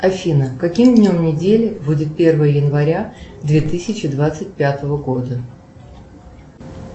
афина каким днем недели будет первое января две тысячи двадцать пятого года